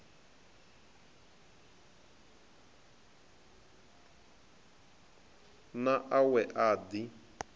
na a we a ḓi